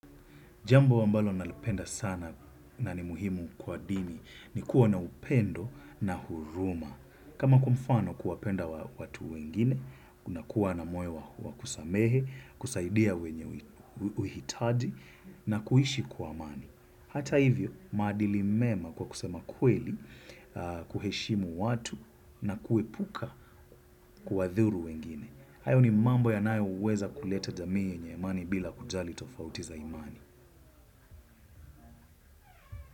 Jambo ambalo nalipenda sana na ni muhimu kwa dini ni kuwa na upendo na huruma. Kama kwa mfano kuwapenda watu wengine, unakuwa na moyo wa kusamehe, kusaidia wenye uhitaji na kuishi kwa amani. Hata hivyo, maadili mema kwa kusema kweli, kuheshimu watu na kuepuka kuwadhuru wengine. Hayo ni mambo yanayoweza kuleta jamii yenye imani bila kujali tofauti za imani.